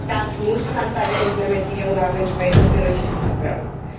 Das muss dann bei der Implementierung auch entsprechend berücksichtigt werden.